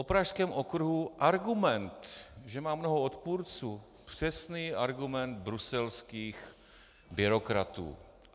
O Pražském okruhu argument, že má mnoho odpůrců - přesný argument bruselských byrokratů.